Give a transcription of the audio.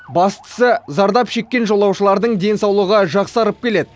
бастысы зардап шеккен жолаушылардың денсаулығы жақсарып келеді